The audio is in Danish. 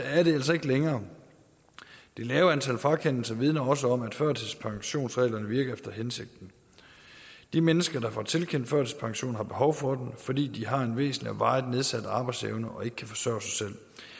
er det altså ikke længere det lave antal frakendelser vidner også om at førtidspensionsreglerne virker efter hensigten de mennesker der får tilkendt førtidspension har behov for den fordi de har en væsentlig og varigt nedsat arbejdsevne og ikke kan forsørge sig